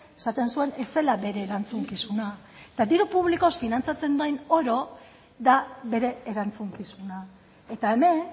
esaten zuen ez zela bere erantzukizuna eta diru publikoz finantzatzen den oro da bere erantzukizuna eta hemen